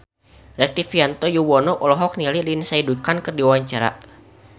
Rektivianto Yoewono olohok ningali Lindsay Ducan keur diwawancara